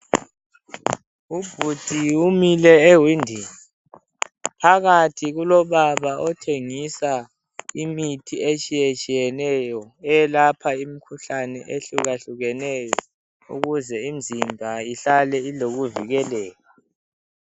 Ubhudi umile ewindini phakathi kulobaba othengisa imithi etshiyetshiyeneyo elapha imkhuhlani ehlukahlukeneyo ukuze imzimba ihlale ibukeka.